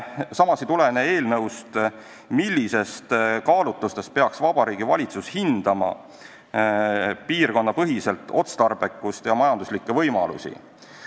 Samas ei tulene eelnõust, millistest kaalutlustest lähtudes peaks Vabariigi Valitsus hindama piirkonnapõhist otstarbekust ja majanduslikke võimalusi.